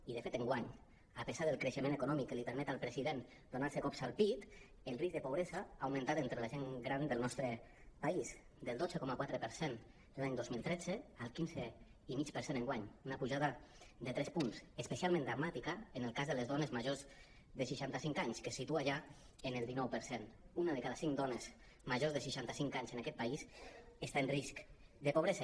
i de fet enguany a pesar del creixement econòmic que li permet al presi·dent donar·se cops al pit el risc de pobresa ha augmentat entre la gent gran del nos·tre país del dotze coma quatre per cent l’any dos mil tretze al quinze coma cinc enguany una pujada de tres punts espe·cialment dramàtica en el cas de les dones majors de seixanta·cinc anys que es situa ja en el dinou per cent una de cada cinc dones majors de seixanta·cinc anys en aquest país està en risc de pobresa